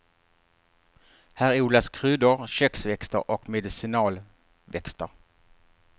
Här odlas kryddor, köksväxter och medicinalväxter.